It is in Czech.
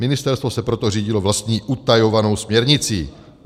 Ministerstvo se proto řídilo vlastní utajovanou směrnicí.